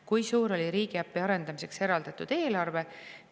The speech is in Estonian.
Kui suur oli riigiäpi arendamiseks eraldatud eelarve?